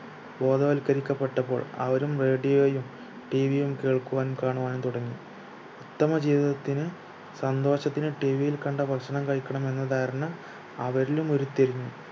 ബോധവൽക്കരിക്കപ്പെട്ടപ്പോൾ അവരും radio യും tv യുംകേൾക്കുവാനും കാണുവാനും തുടങ്ങി ഉത്തമ ജീവിതത്തിന് സന്തോഷത്തിന് tv യിൽ കണ്ട ഭക്ഷണം കഴിക്കണം എന്ന ധാരണ അവരിലും ഉരുത്തിരിഞ്ഞു